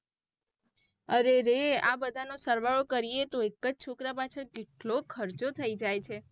અરે રે આ બધાનો સરવાળો કરીયે તો એકજ છોકરા પાછળ કેટલું ખર્ચો થઇ જાય છે.